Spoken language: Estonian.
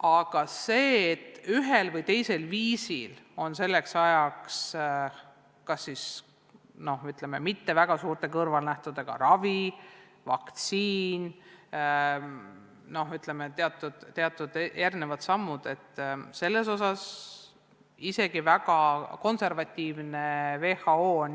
Aga selle kohta, et ühel või teisel viisil on selleks ajaks leitud kas, ütleme, mitte väga suurte kõrvalnähtudega ravim või vaktsiin, on isegi väga konservatiivne WHO,